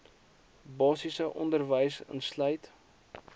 basiese onderwys insluit